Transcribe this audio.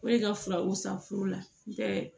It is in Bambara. O de ka furaw san furu la bɛɛ